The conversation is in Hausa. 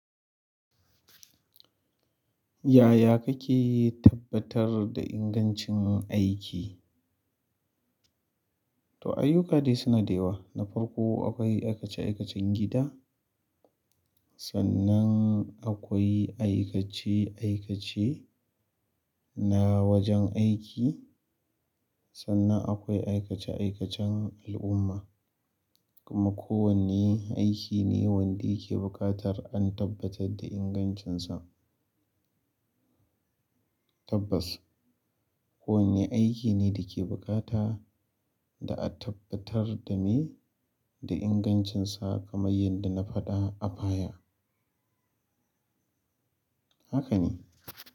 Yaya kake tabbatar da ingancin aiki? To ayyuka dai suna da yawa. Na farko akwai aikace-aikacen gida, sannan akwai aikace-aikace na wajen aiki, sannan akwai aikace-aikacen al'umma. Kuma kowane aiki ne wanda yake buƙatar an tabbatar da ingancinsa. Tabbas, kowane aiki ne da ke buƙata da a tabbatar da me da ingancinsa kamar yadda na faɗa a baya. Haka ne.